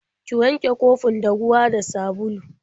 Ki wanke kofin da ruwa da sabulu.